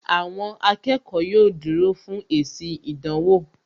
Àwọn akẹ́kọ̀ọ́ yóò dúró fún èsì ìdánwò